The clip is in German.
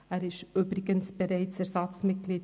Er ist übrigens bereits Ersatzmitglied